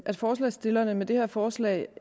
at forslagsstillerne med det her forslag